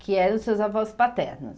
Que eram seus avós paternos.